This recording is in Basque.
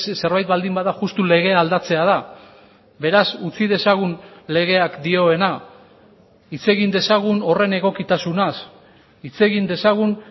zerbait baldin bada justu legea aldatzea da beraz utzi dezagun legeak dioena hitz egin dezagun horren egokitasunaz hitz egin dezagun